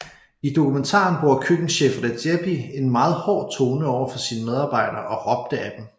I dokumentaren bruger køkkenchef Redzepi en meget hård tone over for sine medarbejdere og råbte ad dem